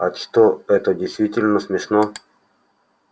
а что это действительно смешно